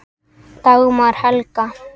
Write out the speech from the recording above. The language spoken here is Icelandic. Dagmar Helga.